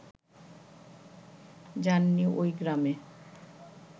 যান নি ওই গ্রামে